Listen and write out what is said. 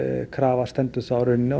krafa stendur þá í rauninni á